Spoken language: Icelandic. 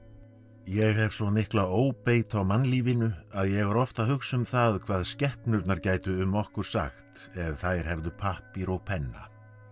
ég hef svo mikla óbeit á mannlífinu að ég er oft að hugsa um það hvað skepnurnar gætu um okkur sagt ef þær hefðu pappír og penna